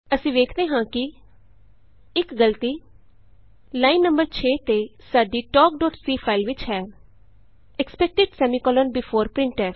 ਅਸੀਂ ਵੇਖਦੇ ਹਾਂ ਕਿ ਇਕ ਗਲਤੀ ਲਾਈਨ ਨੰ 6 ਤੇ ਸਾਡੀ talkਸੀ ਫਾਈਲ ਵਿਚ ਹੈ ਐਕਸਪੈਕਟਿਡ ਸੈਮੀਕੋਲੋਨ ਬੇਫੋਰ printf